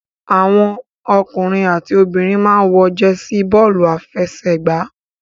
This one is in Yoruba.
Àwọn ọkùnrin àti obìnrin máa ń wọ jẹsí bọ́ọ́lù-afẹsẹ̀gbá.